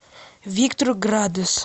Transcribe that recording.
виктор градус